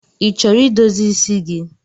Ị chọrọ idozi isi gi?